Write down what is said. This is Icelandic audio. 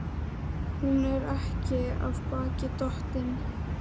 Hún er ekki af baki dottin.